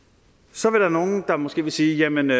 så vil nogen måske sige jamen vi